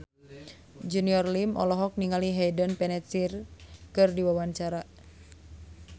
Junior Liem olohok ningali Hayden Panettiere keur diwawancara